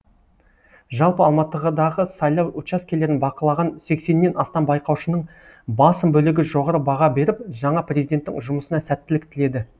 жалпы алматығыдағы сайлау учаскелерін бақылаған сексеннен астам байқаушының басым бөлігі жоғары баға беріп жаңа президенттің жұмысына сәттілік тіледі